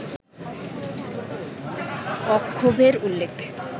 অক্ষোভ্যের উল্লেখ